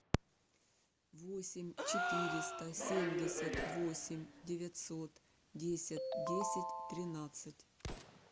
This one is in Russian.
восемь четыреста семьдесят восемь девятьсот десять десять тринадцать